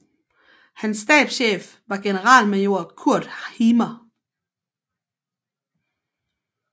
Hans stabschef var generalmajor Kurt Himer